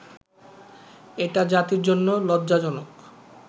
এটা জাতির জন্য লজ্জাজনক